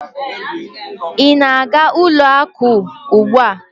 Ị na-aga ụlọ akụ ugbu a?